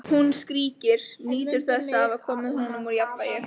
Hún skríkir, nýtur þess að hafa komið honum úr jafnvægi.